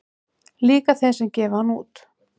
Líka þeim sem gefa hann út